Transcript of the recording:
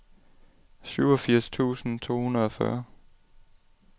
syvogfirs tusind to hundrede og fyrre